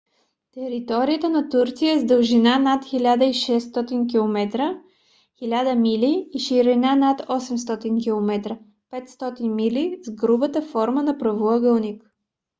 територията на турция е с дължина над 1600 километра 1000 мили и ширина над 800 км 500 мили с грубата форма на правоъгълник